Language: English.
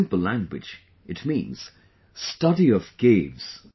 In simple language, it means study of caves